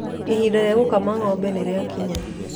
Ihinda ria gũkama ng'ombe nĩ rĩakinya